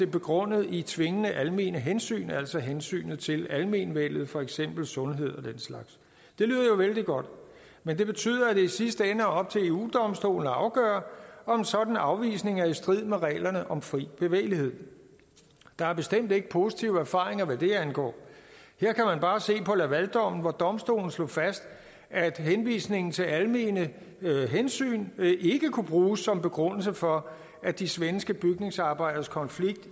begrundelse i tvingende almene hensyn altså hensynet til almenvellet for eksempel sundhed og vældig godt men det betyder at det i sidste ende er op til eu domstolen at afgøre om en sådan afvisning er i strid med reglerne om fri bevægelighed der er bestemt ikke positive erfaringer hvad det angår her kan man bare se på at laval dommen hvor domstolen slog fast at henvisningen til almene hensyn ikke kunne bruges som begrundelse for at de svenske bygningsarbejderes konflikt